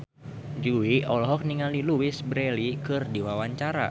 Jui olohok ningali Louise Brealey keur diwawancara